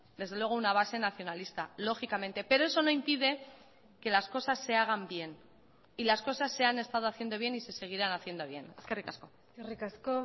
desde luego una base nacionalista lógicamente pero eso no impide que las cosas se hagan bien y las cosas se han estado haciendo bien y se seguirán haciendo bien eskerrik asko eskerrik asko